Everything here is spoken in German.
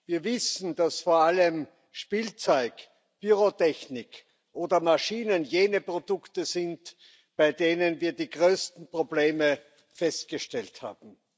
Wir wissen, dass vor allem Spielzeug, Pyrotechnik oder Maschinen jene Produkte sind, bei denen wir die größten Probleme festgestellt haben.